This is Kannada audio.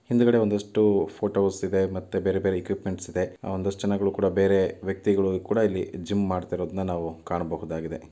ಹಿಂದ್ಗಡೆ ಒಂದಷ್ಟು ಫೋಟೋಸ್ ಇದೆ ಮತ್ತೆ ಬೇರೆ ಬೇರೆ ಏಕುಪಮೆಂಟ್ಸ್ ಒಂದಷ್ಟು ಜನಗಳು ಕೂಡ ಬೇರೆ ವೆಕ್ತಿಗಳೂ ಕೂಡ ಇಲ್ಲಿ ಜಿಮ್ ಮಾಡ್ತಾರಾ ಇರುದನಾ ನಾವು ಕಾಣಬಹುದಾಗಿದೆ.